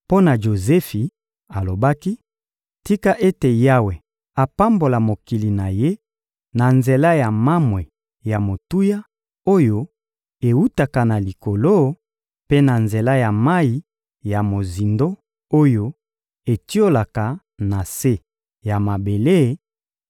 Mpo na Jozefi, alobaki: «Tika ete Yawe apambola mokili na ye na nzela ya mamwe ya motuya, oyo ewutaka na likolo, mpe na nzela ya mayi ya mozindo oyo etiolaka na se ya mabele